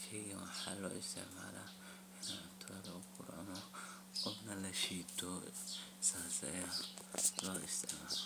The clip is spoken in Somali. sheygan waxaa loo isticmala inta lagura oona lashiito sidhaas ayaa loo isticmala.